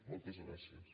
motles gràcies